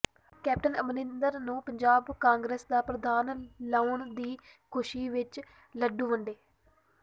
captain Amarinder ਨੂੰ Punjab Congress ਦਾ ਪ੍ਰਧਾਨ ਲਾਉਣ ਦੀ ਖੁਸ਼ੀ ਵਿੱਚ ਲੱਡੂ ਵੰਡੇ